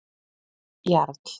Jarl